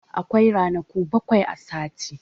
Akwai ranaku bakwai a sati.